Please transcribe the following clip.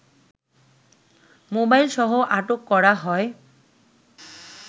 মোবাইলসহ আটক করা হয়